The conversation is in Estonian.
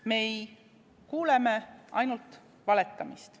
Me kuuleme ainult valetamist.